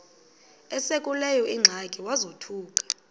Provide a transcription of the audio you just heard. esekuleyo ingxaki wazothuka